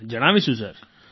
હા જણાવીશું સર